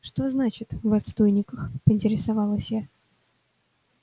что значит в отстойниках поинтересовалась я